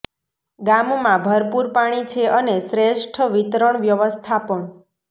ગામમાં ભરપૂર પાણી છે અને શ્રેષ્ઠ વિતરણ વ્યવસ્થા પણ